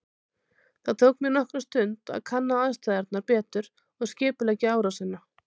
Það tók mig nokkra stund að kanna aðstæðurnar betur og skipuleggja árásina.